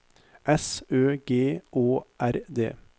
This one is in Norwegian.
S Ø G Å R D